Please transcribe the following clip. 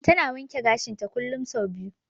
Ta na wanke gashinta kullum sau biyu.